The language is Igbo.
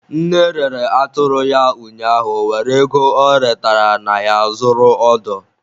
Nne rere atụrụ ya ụnyaahụ were ego ọ retere na ya zụrụ odo.